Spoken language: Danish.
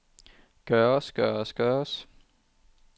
gøres gøres gøres